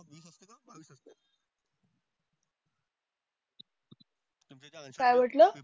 काय म्हंटला?